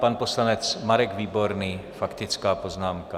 Pan poslanec Marek Výborný, faktická poznámka.